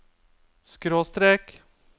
skråstrek